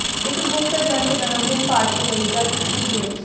ਇੱਕ ਗੁਪਤ ਏਜੰਟ ਜਨਮ ਦਿਨ ਪਾਰਟੀ ਲਈ ਜਾਸੂਸੀ ਗੇਮਜ਼